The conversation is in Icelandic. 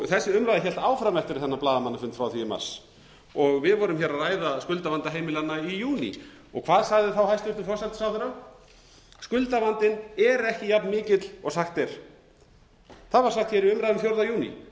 þessi umræða hélt áfram eftir þennan blaðamannafund frá því í mars við vorum hér að ræða skuldavanda heimilanna í júní hvað sagði þá hæstvirtur forsætisráðherra skuldavandinn er ekki jafn mikill og sagt er það var sagt hér í umræðum fjórtánda júní